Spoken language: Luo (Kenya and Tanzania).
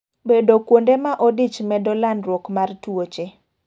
Bedo kuonde ma odich medo landruok mar tuoche.